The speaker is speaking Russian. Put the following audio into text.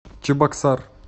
чебоксар